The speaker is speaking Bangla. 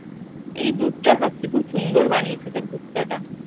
এই দুধ চা খাচ্ছি। খুব সুন্দর বানিয়েছে দুধ চাটা ।